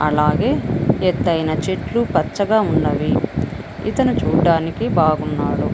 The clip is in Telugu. అలాగే ఎత్తైన చెట్లు పచ్చగా ఉన్నవి. ఇతను చూడ్డానికి బాగున్నాడు.